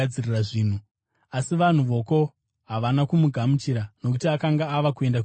asi vanhu voko havana kumugamuchira, nokuti akanga ava kuenda kuJerusarema.